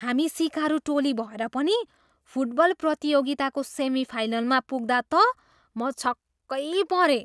हामी सिकारु टोली भएर पनि फुटबल प्रतियोगिताको सेमिफाइनलमा पुग्दा त म छक्कै परेँ।